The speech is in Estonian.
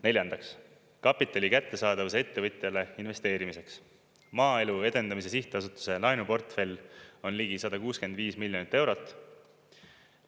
Neljandaks, kapitali kättesaadavuse ettevõtjale investeerimiseks Maaelu Edendamise Sihtasutuse laenuportfell on ligi 165 miljonit eurot.